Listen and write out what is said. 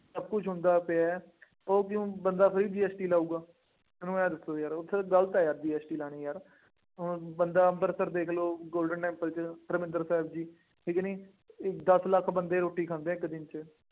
ਸਭ ਕੁੱਛ ਹੁੰਦਾ ਪਿਆ, ਉਹ ਕਿਉਂ, ਬੰਦਾ ਫੇਰ GST ਲਾਊਗਾ, ਮੈਨੂੰ ਆਏਂ ਦੱਸੋ ਯਾਰ ਉੱਥੇ ਗਲਤ ਹੈ ਯਾਰ GST ਲਾਉਣੀ ਯਾਰ, ਹੁਣ ਬੰਦਾ ਅੰਮ੍ਰਿਤਸਰ ਦੇਖ ਲਉ, Golden Temple ਚ ਹਰਮੰਦਿਰ ਸਾਹਿਬ ਜੀ, ਠੀਕ ਕਿ ਨਹੀਂ, ਇਸ ਦੱਸ ਲੱਖ ਬੰਦੇ ਰੋਟੀ ਖਾਂਦੇ ਆ ਇੱਕ ਦਿਨ ਚ।